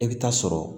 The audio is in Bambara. I bɛ taa sɔrɔ